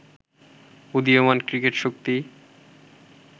উদীয়মান ক্রিকেট শক্তি